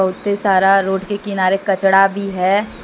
उसपे सारा रोड के किनारे कचड़ा भी है।